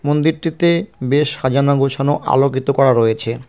মন্দিরটিতে বেশ সাজানো গোছানো আলোকিত করা রয়েছে।